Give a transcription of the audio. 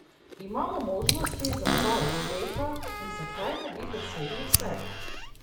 Imamo možnosti za oba uspeha in zakaj ne bi dosegli vsega?